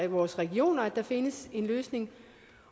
vores regioner at der findes en løsning